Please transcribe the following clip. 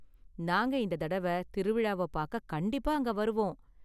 நாங்க இந்த தடவ திருவிழாவ பாக்க கண்டிப்பா அங்க வருவோம்.